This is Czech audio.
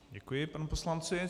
Děkuji panu poslanci.